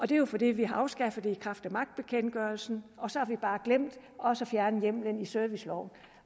det er jo fordi vi har afskaffet det i kraft af magtbekendtgørelsen og så har vi bare glemt også at fjerne hjemmelen i serviceloven